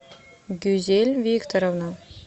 гюзель викторовна